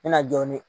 N bɛna jɔ ne